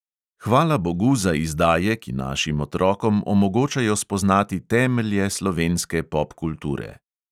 Hvalabogu za izdaje, ki našim otrokom omogočajo spoznati temelje slovenske popkulture.